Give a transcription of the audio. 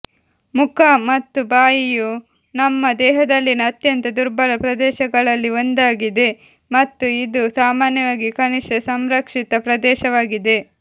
ಮುಖ ಮತ್ತು ಬಾಯಿಯು ನಮ್ಮ ದೇಹದಲ್ಲಿನ ಅತ್ಯಂತ ದುರ್ಬಲ ಪ್ರದೇಶಗಳಲ್ಲಿ ಒಂದಾಗಿದೆ ಮತ್ತು ಇದು ಸಾಮಾನ್ಯವಾಗಿ ಕನಿಷ್ಠ ಸಂರಕ್ಷಿತ ಪ್ರದೇಶವಾಗಿದೆ